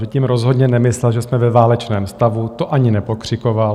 Že tím rozhodně nemyslel, že jsme ve válečném stavu, to ani nepokřikoval.